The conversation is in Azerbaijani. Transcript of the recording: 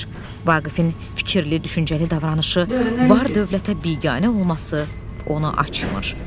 Vaqifin fikirli, düşüncəli davranışı, var-dövlətə biganə olması onu açmır.